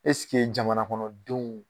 Ɛseke jamana kɔnɔ denw.